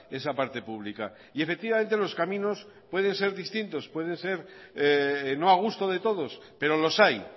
esa parte pública y efectivamente los caminos pueden ser distintos pueden ser no a gusto de todos pero los hay